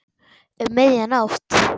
Um miðja nótt.